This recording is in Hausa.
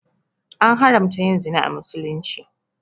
An haramta yin zina a misulumci